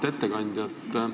Auväärt ettekandja!